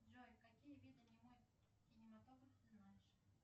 джой какие виды немой кинематограф ты знаешь